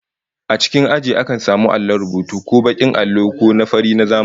A cikin aji akan samu allon rubutu, ko bakin allo ko na fari na zamani